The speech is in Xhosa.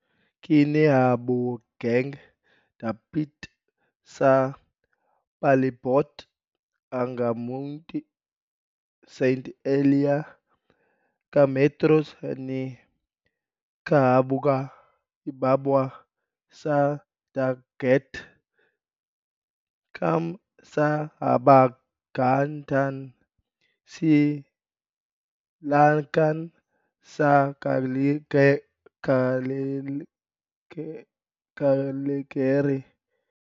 Kinahabogang dapit sa palibot ang Monte Sant'Elia, ka metros ni kahaboga ibabaw sa dagat, km sa habagatan-sidlakan sa Cagliari.